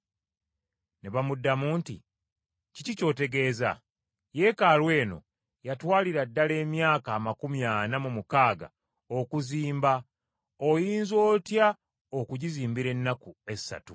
Ne bamuddamu nti, “Kiki ky’otegeeza? Yeekaalu eno yatwalira ddala emyaka amakumi ana mu mukaaga okuzimba oyinza otya okugizimbira ennaku essatu?”